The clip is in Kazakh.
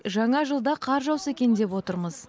жаңа жылда қар жауса екен деп отырмыз